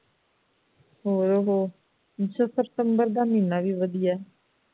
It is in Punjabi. ਹੋਰ ਓਹੋ ਅੱਛਾ ਫਿਰ ਸਤੰਬਰ ਦਾ ਮਹੀਨਾ ਵੀ ਵਧੀਆ ਹੈ